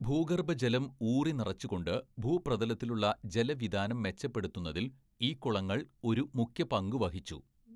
ഭൂഗർഭജലം ഊറി നിറച്ചുകൊണ്ട് ഭൂപ്രതലത്തിലുള്ള ജലവിതാനം മെച്ചപ്പെടുത്തുന്നതില്‍ ഈ കുളങ്ങള്‍ ഒരു മുഖ്യപങ്കു വഹിച്ചു.